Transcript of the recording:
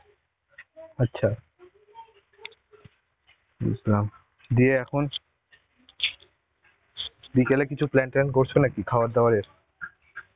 আচ্ছা. বুঝলাম. দিয়ে এখন বিকেলে কিছু plan ট্যান করছো নাকি খাবার দাবারের?